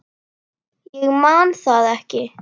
Ég man það ekki.